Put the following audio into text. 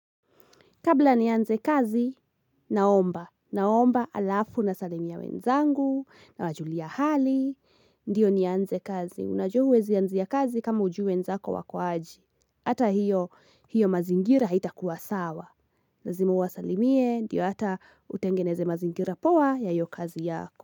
Kabla nianze kazi, naomba. Naomba alafu nasalimia wenzangu na wajulia hali. Ndiyo nianze kazi. Unajua huwezi ya anzia kazi kama hujui wenzako wako aje. Hata hiyo mazingira haitakuwa sawa. Lazima uwasalimie. Ndiyo hata utengeneze mazingira poa ya hiyo kazi yako.